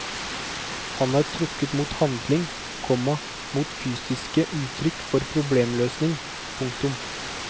Han var trukket mot handling, komma mot fysiske uttrykk for problemløsning. punktum